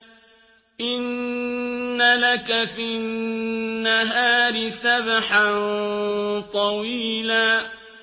إِنَّ لَكَ فِي النَّهَارِ سَبْحًا طَوِيلًا